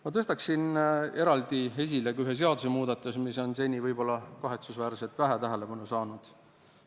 Ma tõstaksin eraldi esile ühe sellise seadusemuudatuse, mis seni on võib-olla kahetsusväärselt vähe tähelepanu saanud.